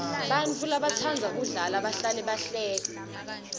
bantfu labatsandza kudla bahlale bahleka